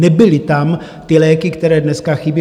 Nebyly tam ty léky, které dneska chybí.